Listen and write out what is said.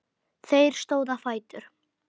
Þeir stóðu á fætur.